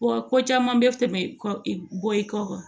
Wa ko caman bɛ tɛmɛ bɔ i kɔ